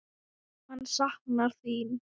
Hann saknar þín.